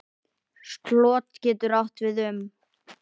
Slot getur átt við um